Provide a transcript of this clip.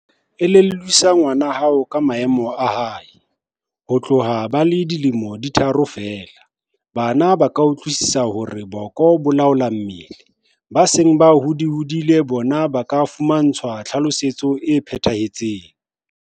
Elellwisa ngwana hao ka maemo a hae. Ho tloha ba le dilemo di tharo feela, bana ba ka utlwisisa hore boko bo laola mmele. Ba seng ba holahodile bona ba ka fumantshwa tlhalosetso e phethahetseng.